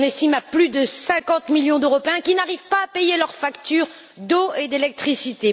On estime à plus de 50 millions le nombre d'Européens qui n'arrivent pas à payer leurs factures d'eau et d'électricité.